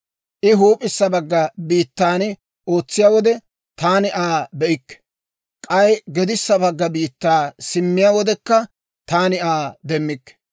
I huup'issa bagga biittan ootsiyaa wode, taani Aa be'ikke; k'ay gedissa bagga biittaa simmiyaa wodekka, taani Aa demmikke.